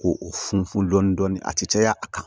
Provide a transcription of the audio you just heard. Ko o funfun dɔɔni dɔɔni a tɛ caya a kan